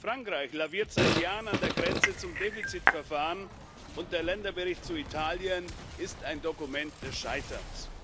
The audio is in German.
Frankreich laviert seit Jahren an der Grenze zum Defizitverfahren, und der Länderbericht zu Italien ist ein Dokument des Scheiterns.